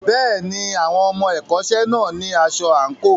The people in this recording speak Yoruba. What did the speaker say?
Bẹ́ẹ̀ni, àwọn ọmọ ẹ̀kọ́ṣẹ́ náà ní aṣọ àǹkóò.